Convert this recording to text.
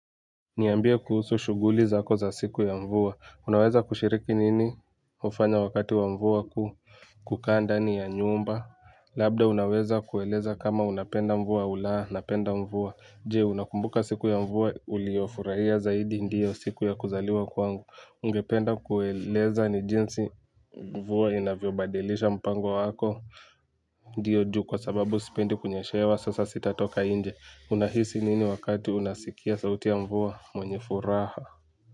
Niyambia kuhusu shuguli zako za siku ya mvua. Unaweza kushiriki nini hufanya wakati wa mvua kuu kukaa ndani ya nyumba. Labda unaweza kueleza kama unapenda mvua au laa, napenda mvua. Jee, unakumbuka siku ya mvua uliofuraia zaidi ndiyo siku ya kuzaliwa kwangu. Ungependa kueleza ni jinsi mvua inavyo badilisha mpango wako. Ndiyo juu kwa sababu sipendi kunyeshewa sasa sitatoka inje. Unahisi nini wakati unasikia sauti ya mvuwa mwenye furaha.